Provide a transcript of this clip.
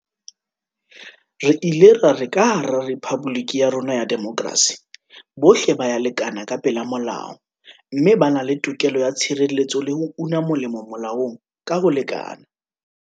Re ile ra re ka hara rephaboliki ya rona ya demokrasi, bohle ba ya lekana ka pela molao mme ba na le tokelo ya tshireletso le ho una molemo molaong ka ho lekana.